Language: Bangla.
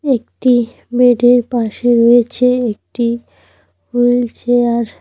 একটি বেডের পাশে রয়েছে একটি হুইল চেয়ার ।